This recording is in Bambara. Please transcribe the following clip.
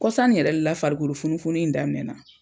Kɔsan ni yɛrɛ de la farikolo funufunun in daminɛna.